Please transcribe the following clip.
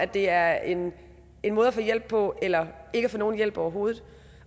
det er en måde at få hjælp på eller ikke at få nogen hjælp overhovedet